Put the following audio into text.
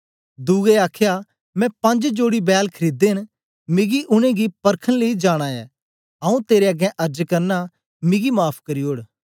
दुए आखया मैं पंज जोड़ी बैल खरीदे न मिगी उनेंगी परखन लेई जाना ऐ आऊँ तेरे अगें अर्ज करना मिगी माफ़ करी ओड़